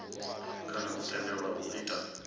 kana o tendelwaho u ita